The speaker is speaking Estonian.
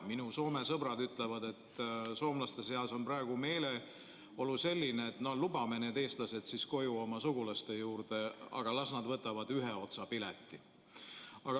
Minu Soome sõbrad ütlevad, et soomlaste seas on praegu meeleolu selline, et lubame need eestlased siis koju oma sugulaste juurde, aga las nad võtavad ühe otsa pileti.